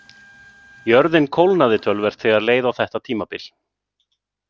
Jörðin kólnaði töluvert þegar leið á þetta tímabil.